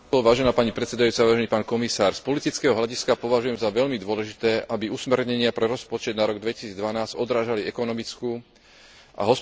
Z politického hľadiska považujem za veľmi dôležité, aby usmernenia pre rozpočet na rok 2012 odrážali ekonomickú a hospodársku realitu, v ktorej je tvorený.